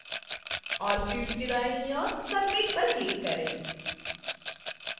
और field के दाईं ओर submit पर click करें